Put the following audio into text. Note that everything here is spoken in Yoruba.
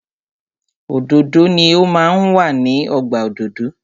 Òdòdó ni o máa ń wà ní ọgbà òdòdó.